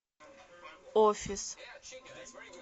офис